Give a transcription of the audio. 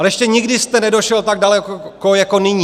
Ale ještě nikdy jste nedošel tak daleko jako nyní.